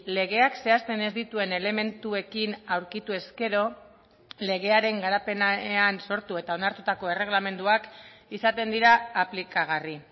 legeak zehazten ez dituen elementuekin aurkitu ezkero legearen garapenean sortu eta onartutako erregelamenduak izaten dira aplikagarri